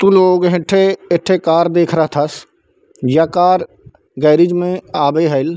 car दिख रहा थस जेखर गेरेज में आवे हईल--